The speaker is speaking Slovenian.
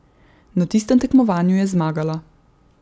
Na tistem tekmovanju je zmagala.